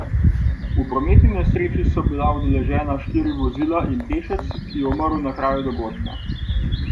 V prometni nesreči so bila udeležena štiri vozila in pešec, ki je umrl na kraju dogodka.